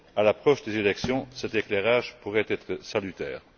À l'approche des élections, cet éclairage pourrait être salutaire.